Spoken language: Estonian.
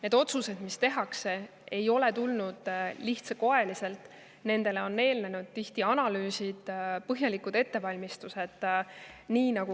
Need otsused, mis tehakse, ei ole tulnud lihtsalt, nendele on tihti eelnenud analüüsid, põhjalikud ettevalmistused.